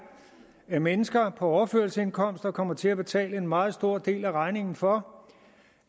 at mennesker på overførselsindkomster kommer til at betale en meget stor del af regningen for